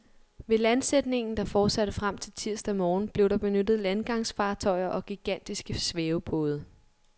Ved landsætningen, der fortsatte frem til tirsdag morgen, blev der benyttet landgangsfartøjer og gigantiske svævebåde.